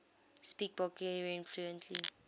speak bulgarian fluently